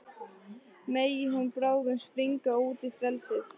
Megi hún bráðum springa út í frelsið.